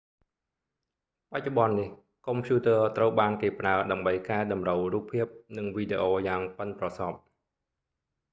បច្ចុប្បន្ននេះកុំព្យូទ័រត្រូវបានគេប្រើ ដើម្បីកែតម្រូវរូបភាព និងវីដេអូយ៉ាងប៉ិនប្រសប់